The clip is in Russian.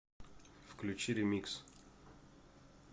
включи ремикс